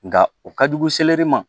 Nka o ka jugu seleri ma